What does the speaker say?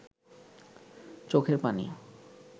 চোখের পানি